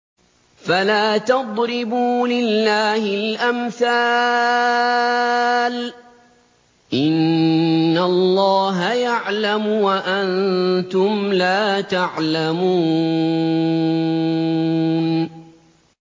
فَلَا تَضْرِبُوا لِلَّهِ الْأَمْثَالَ ۚ إِنَّ اللَّهَ يَعْلَمُ وَأَنتُمْ لَا تَعْلَمُونَ